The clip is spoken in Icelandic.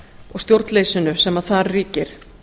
og stjórnleysinu sem þar ríkir